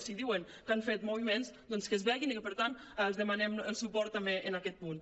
si diuen que han fet moviments doncs que es vegin i per tant els demanem el suport també en aquest punt